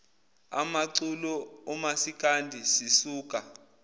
amaculo omasikandi sisuka